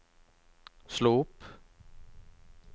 slå opp